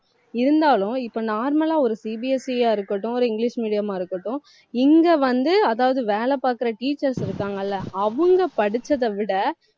இருந்தாலும் இப்ப normal லா ஒரு CBSE ஆ இருக்கட்டும் ஒரு இங்கிலிஷ் medium ஆ இருக்கட்டும் இங்க வந்து, அதாவது வேலை பார்க்கிற teachers இருக்காங்கல்ல அவங்க படிச்சதை விட